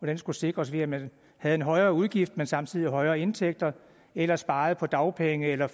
den skulle sikres ved at man havde en højere udgift men samtidig højere indtægter eller sparede på dagpenge eller